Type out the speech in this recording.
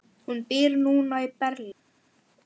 Tigin svanni á höfði ber.